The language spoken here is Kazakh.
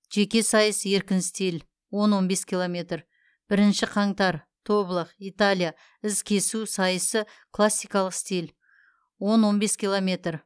жеке сайыс еркін стиль он он бес километр бірінші қаңтар тоблах италия із кесу сайысы классикалық стиль он он бес километр